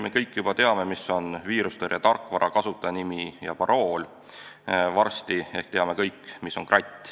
Me kõik juba teame, mis on viirusetõrje tarkvara, kasutajanimi ja parool, varsti ehk teame kõik, mis on kratt.